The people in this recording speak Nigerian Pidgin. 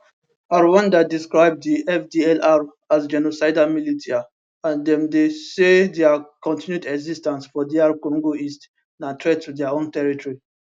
rwanda describe di fdlr as genocidal militia and dem say dia continued exis ten ce for dr congo east na threat to dia own territory